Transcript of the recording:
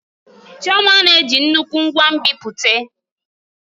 Chioma na-eji nnukwu ngwa nbipute.